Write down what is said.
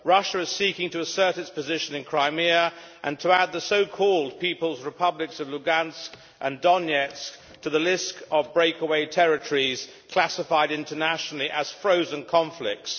Russia is seeking to assert its position in Crimea and to add the so called People's Republics of Luhansk and Donetsk to the list of breakaway territories classified internationally as frozen conflicts.